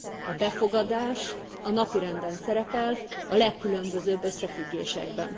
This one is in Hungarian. A befogadás a napirenden szerepel, a legkülönbözőbb összefüggésekben.